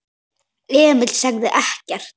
Emil sagði ekkert.